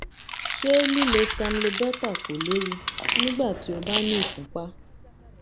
ṣé lílo stamlobeta kò léwu nígbà tí o bá ní ìfúnpá?